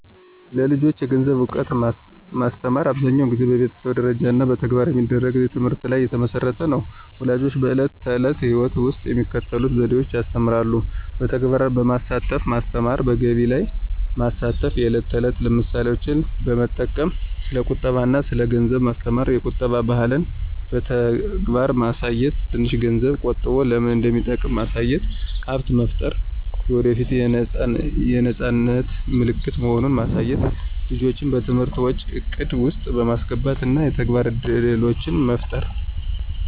ለልጆች የገንዘብ እውቀት ማስተማር አብዛኛውን ጊዜ በቤተሰብ ደረጃ እና በተግባር በሚደረግ ትምህርት ላይ የተመሠረተ ነው። ፣ ወላጆች በዕለት ተዕለት ሕይወት ውስጥ በሚከተሉት ዘዴዎች ያስተምራሉ። በተግባር በማሳተፍ ማስተማሩ፣ በገቢያ ላይ ማስተፍ፣ የዕለት ተዕለት ምሳሌዎች በመጠቅም ስለ ቁጠባ አና ስለ ገንዘብ ማስተማሩ፣ የቁጠባ ባህልን በተግባር ማሳየት፣ ትንሽ ገንዝብ ቆጠቦ ለምን እንደሚጠቅም ማሳየት፣ ሀብት መፍጠር የወደፏት የነፃነት ምልክት መሆኑን ማሳየት፣ ልጆችን በትንሽ ወጪ እቅድ ውስጥ በማስገባት እና የተግባር እድሎችን በመፍጠር ነው።